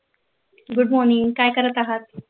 good morning काय करत आहात